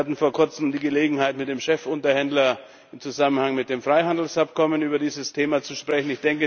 Wir hatten vor kurzem die Gelegenheit, mit dem Chefunterhändler im Zusammenhang mit dem Freihandelsabkommen über dieses Thema zu sprechen.